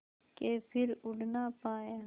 के फिर उड़ ना पाया